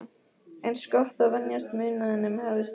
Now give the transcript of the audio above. Eins gott að venjast munaðinum, hafði strákur